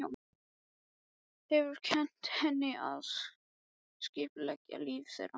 Hefur kennt henni að skipuleggja líf þeirra.